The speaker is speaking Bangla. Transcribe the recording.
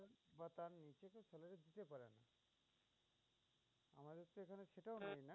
এটা